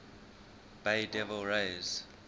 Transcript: bay devil rays